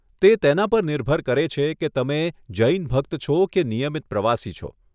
તે તેના પર નિર્ભર કરે છે કે તમે જૈન ભક્ત છો કે નિયમિત પ્રવાસી છો.